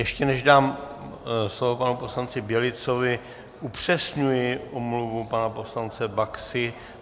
Ještě než dám slovo panu poslanci Bělicovi, upřesňuji omluvu pana poslance Baxy.